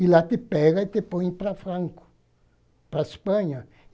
E lá te pega e te põe para Franco, para a Espanha.